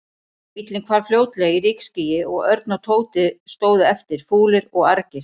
Bíllinn hvarf fljótlega í rykskýi og Örn og Tóti stóðu eftir, fúlir og argir.